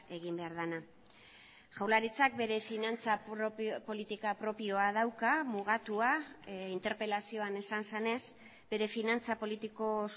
egin behar dena jaurlaritzak bere finantza politika propioa dauka mugatua interpelazioan esan zenez bere finantza politiko